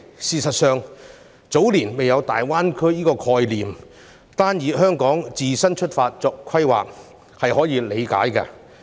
事實上，早年未有大灣區的概念，所以單從香港自身出發作規劃是可以理解的。